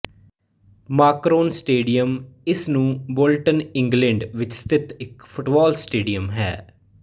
Macron stadium ਇਸ ਨੂੰ Bolton England ਵਿੱਚ ਸਥਿਤ ਇੱਕ ਫੁੱਟਬਾਲ ਸਟੇਡੀਅਮ ਹੈ